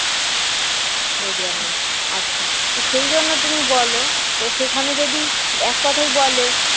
রোজগার নেই আচ্ছা তো সেইজন্য তুমি বল তো সেখানে যদি এক কথায় বলে